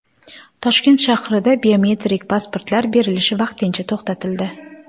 Toshkent shahrida biometrik pasportlar berilishi vaqtincha to‘xtatildi .